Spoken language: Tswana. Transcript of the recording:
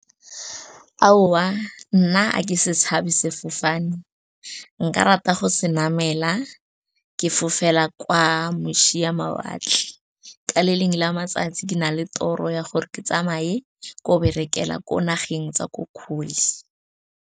Aowa nna a ke se tshabe sefofane, nka rata go se namela ke fofela kwa moša mawatle. Ka le lengwe la matsatsi ke na le toro ya gore ke tsamaye ko berekela ko nageng tsa ko kgole.